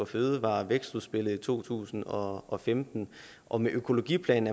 fødevare og vækstudspillet i to tusind og og femten og med økologiplanen